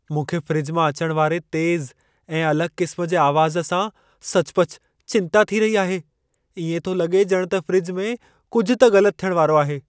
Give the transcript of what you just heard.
मूंखे फ़्रिज मां अचण वारे तेज़ु ऐं अलॻि क़िस्म जे आवाज़ सां सचुपचु चिंता थी रही आहे। इएं थो लॻे ॼणु त फ़्रिज में कुझु त ग़लतु थियण वारो आहे।